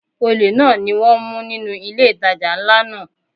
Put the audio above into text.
Olè náà ni wón mú nínú ilé ìtajà ńlá náà.